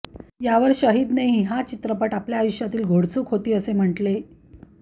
यावर शहीदनेही हा चित्रपट आपल्या आयुष्यातील घोडचूक होती असे म्हटले